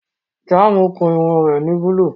Jàmùsì kún irùn rẹ̀ ni búlú.